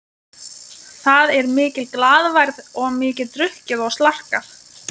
Það er mikil glaðværð og mikið drukkið og slarkað.